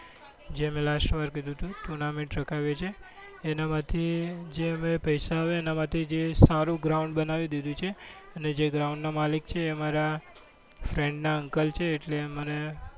જે મેં લાસ્ટ વાર કીધું હતું tournament રખાવીએ છીએ એના માંથી જે અમે પૈસા આવે એના માથી જે સારું ground બનાવી દીધું છે અને જે ground ના માલિક છે એ અમારા friend ના uncle છે. એટલે અમારે